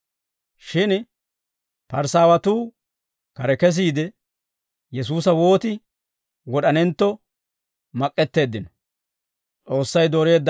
Shin Parisaawatuu kare kesiide, Yesuusa wooti wod'anentto mak'k'eteeddino.